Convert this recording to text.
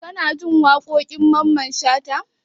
Kanajin waƙoƙin mamman shata?